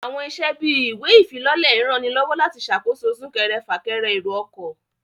Àwọn iṣẹ́ bíi ìwé ìfilọ́lẹ̀ ń ranilọ́wọ́ láti ṣàkóso súnkẹrẹ fà kẹrẹ èrò ọkọ̀